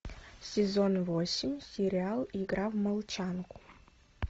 сезон восемь сериал игра в молчанку